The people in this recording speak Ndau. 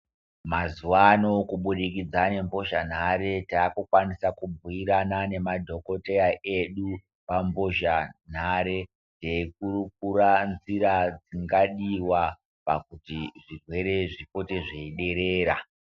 Mazuwa ano kubudikidza ngembozhanhare takukwanisa kubhuirana nemadhokodheya edu pambozhanhare teikurukura nzira dzingadiwa pakuti zvirwere zvipote zveiderera.